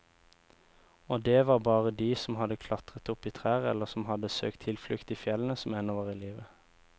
Og det var bare de som hadde klatret opp i trær eller som hadde søkt tilflukt i fjellene, som ennå var i live.